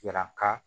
Yira ka